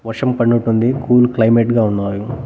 వర్షం పడినట్టుంది cool climate గా ఉన్నాయి.